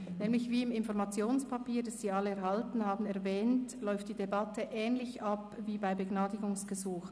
Wie nämlich im Informationspapier , das Sie alle erhalten haben, erwähnt ist, läuft die Debatte ähnlich ab wie bei Begnadigungsgesuchen.